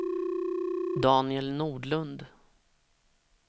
Daniel Nordlund